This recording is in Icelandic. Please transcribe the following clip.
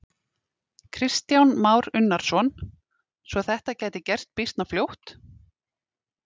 Kristján Már Unnarsson: Svo þetta gæti gerst býsna fljótt?